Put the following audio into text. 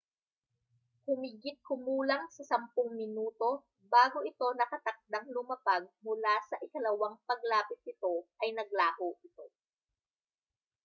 humigit-kumulang sa sampung minuto bago ito nakatakdang lumapag mula sa ikalawang paglapit nito ay naglaho ito